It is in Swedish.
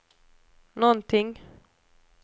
någonting